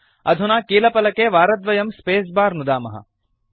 अधुना कीलफलके वारद्वयं स्पेस बार नुदामः